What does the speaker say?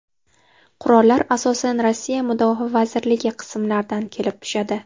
Qurollar asosan Rossiya Mudofaa vazirligi qismlaridan kelib tushadi.